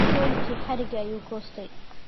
Weylki hariga ayu goystay.